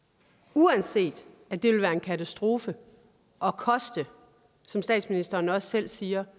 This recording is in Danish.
uanset at det vil være en katastrofe og koste som statsministeren også selv siger